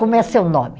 Como é seu nome?